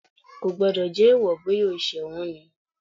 Kò gbọ́dọ̀ jẹ́ èèwọ̀, bóyá o ṣẹ̀ wọ́n ni.